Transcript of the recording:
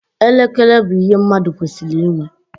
Elekere bụ ihe mmadụ kwesịrị ịnwe.